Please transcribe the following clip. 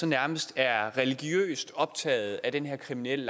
nærmest religiøst optaget af den her kriminelle